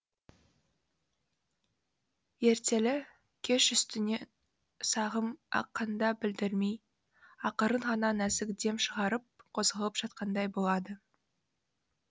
ертелі кеш үстінен сағым аққанда білдірмей ақырын ғана нәзік дем шығарып қозғалып жатқандай болады